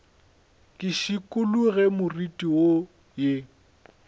ke šikologe moriti wo ye